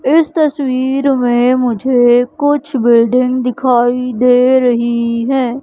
इस तस्वीर में मुझे कुछ बिल्डिंग दिखाई दे रही हैं।